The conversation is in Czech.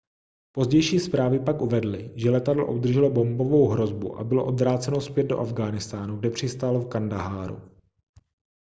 pozdější zprávy pak uvedly že letadlo obdrželo bombovou hrozbu a bylo odvráceno zpět do afghánistánu kde přistálo v kandaháru